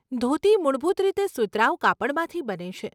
ધોતી મૂળભૂત રીતે સુતરાઉ કાપડમાંથી બને છે.